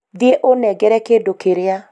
thiĩ ũnengere kĩdũ kĩrĩa